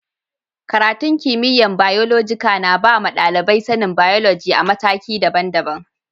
Karatun kimiyya'n Biyolojika na ba ma dalibai sani'n biyoloji a'matakin dabban-dabban.